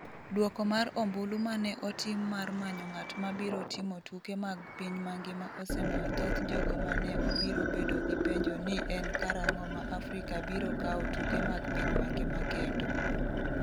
Duoko mar ombulu ma ne otim mar manyo ng’at ma biro timo tuke mag piny mangima osemiyo thoth jogo ma ne obiro bedo gi penjo ni en karang’o ma Afrika biro kawo tuke mag piny mangima kendo.